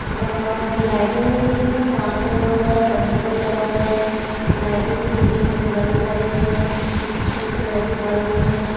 आ लाइटें लगी हुई हैं कांच लगा हुआ हैं फर्नीचर लगा हुआ है लाइटों के छोटे छोटे बल्ब लगे हुए है सफेद कलर के बल्ब है।